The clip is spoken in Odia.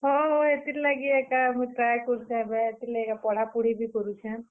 ହଁ, ହୋ ହେତିର୍ ଲାଗି ଏକା ମୂଇଁ try କରୁଛେଁ ଏବେ। ହେତିର୍ ଲାଗି ଏକା ପଢା ପୁଢି କରୁଛେଁ।